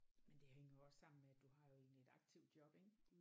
Men det hænger jo også sammen med at du har jo egentlig et aktivt job ik